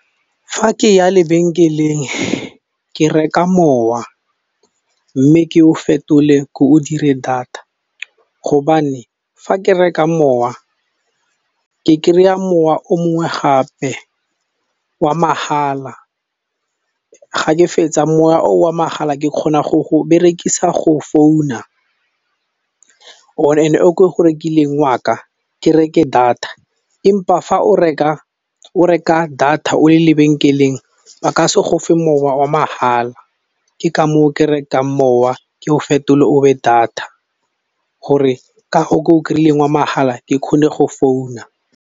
Ga ke ya lebenkeleng ke reka mowa, mme ke o fetole ke o dire data hobane fa ke reka mowa ke kry-a mowa o mongwe gape wa mahala, ga ke fetsa moya o wa mahala ke kgona go go berekisa go founa o ke go rekileng waka ke reke data empa fa o reka o reka data o le lebenkeleng ba ka se gofe mowa wa mahala, ke ka moo o ke rekang mowa ke o fetole o be data gore ka go ko kry-ileng wa mahala ke kgone go founa.